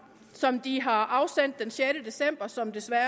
som de har afsendt den sjette december og som desværre